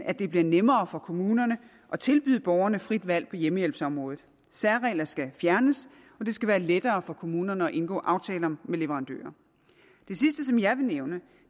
at det bliver nemmere for kommunerne at tilbyde borgerne frit valg på hjemmehjælpsområdet særregler skal fjernes og det skal være lettere for kommunerne at indgå aftaler med leverandører det sidste som jeg vil nævne